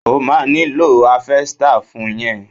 O ma nílò háfẹ́stà fún yẹn.